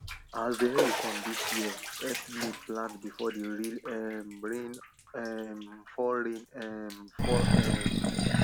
as dey early come dis year help me plant before the real um rain um fall rain um fall um